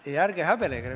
Jaa, ei, ärge häbenege!